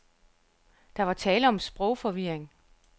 Der var tale om sprogforvirring.